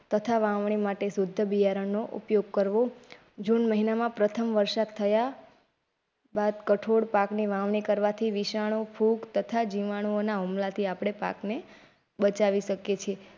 તથા વાવણી માટે શુદ્ધ બીયારણ નો ઉપયોગ કરવો જૂન મહીનામાં પ્રથમ વરસાદ થયા બાદ કઠોળ પાકને વાવણી કરવાથી વિષાણું ફૂગ તથા જીવાણુઓના હુમલાથી આપડે પાકને બચાવી શકે.